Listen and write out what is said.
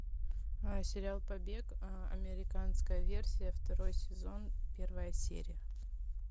сериал побег американская версия второй сезон первая серия